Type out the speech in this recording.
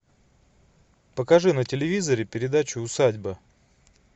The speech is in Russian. покажи на телевизоре передачу усадьба